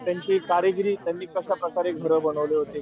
त्यांची कारागिरी त्यांनी कश्या प्रकारे घर बनवले होते,